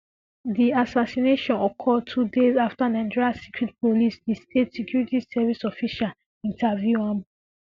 di assassination occur two days afta nigeria secret police di state security service officials interview am